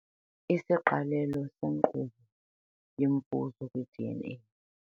Isiqalelo senkqubo yemfuzo sikwiDNA.